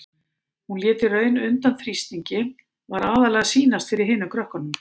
Hún lét í raun undan þrýstingi, var aðallega að sýnast fyrir hinum krökkunum.